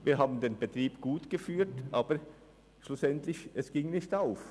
Wir führten den Betrieb gut, aber die Rechnung ging nicht auf.